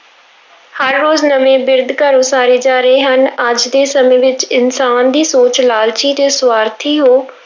ਹਰ ਰੋਜ਼ ਨਵੇਂ ਬਿਰਧ ਘਰ ਉਸਾਰੇ ਜਾ ਰਹੇ ਹਨ, ਅੱਜ ਦੇ ਸਮੇਂ ਵਿੱਚ ਇਨਸਾਨ ਦੀ ਸੋਚ ਲਾਲਚੀ ਤੇ ਸਵਾਰਥੀ ਹੋ